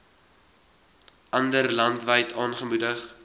andere landwyd aangemoedig